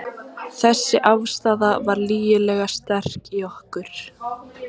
Þessi afstaða var lygilega sterk í okkur.